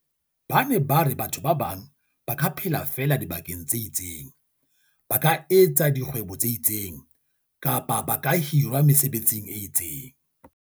Ba ne ba re batho ba bang ba ka phela feela dibakeng tse itseng, ba ka etsa dikgwebo tse itseng, kapa ba hirwa mesebetsing e itseng.